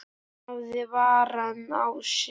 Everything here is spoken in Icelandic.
Hún hafði varann á sér.